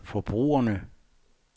forbrugerne